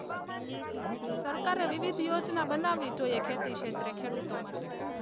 સરકારે વિવિધ યોજના બનાવી જોઈએ ખેતી ક્ષેત્રે ખેડૂતો માટે.